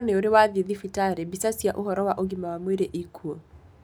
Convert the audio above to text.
Koro nĩ ũrĩ wathie thibitarĩ, mbica cia ũhoro wa ũgima wa mwĩrĩ ĩkuo.